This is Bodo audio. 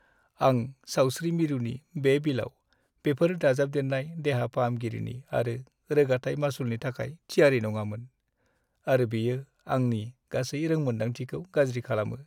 आं सावस्रि मिरुनि बे बिलाव बेफोर दाजाबदेरनाय देहा-फाहामगिरि आरो रोगाथाइ मासुलनि थाखाय थियारि नङामोन, आरो बेयो आंनि गासै रोंमोनदांथिखौ गाज्रि खालामो।